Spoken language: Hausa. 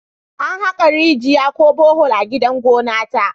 An haka rigiya ko Bohol a gidan gona ta